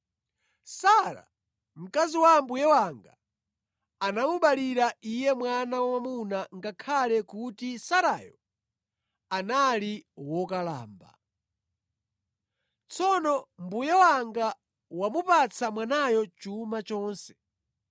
Sara, mkazi wa mbuye wanga anamubalira iye mwana wamwamuna ngakhale kuti Sarayo anali wokalamba. Tsono mbuye wanga wamupatsa mwanayo chuma chonse.